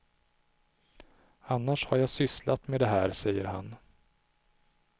Annars har jag sysslat med det här, säger han.